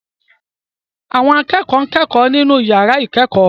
Àwọn akẹ́kọ̀ọ́ ń kẹ́kọ̀ọ́ nínú yàrá ìkẹ́kọ̀ọ́